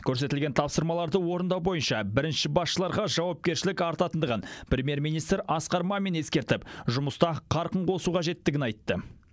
көрсетілген тапсырмаларды орындау бойынша бірінші басшыларға жауапкершілік артқандығын премьер министр асқар мамин ескертіп жұмыста қарқын қосу қажеттігін айтты